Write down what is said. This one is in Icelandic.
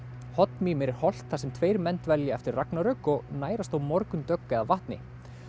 hoddmímir er holt þar sem tveir menn dvelja eftir ragnarök og nærast á morgundögg eða vatni